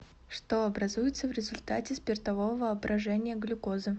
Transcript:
что образуется в результате спиртового брожения глюкозы